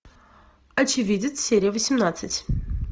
очевидец серия восемнадцать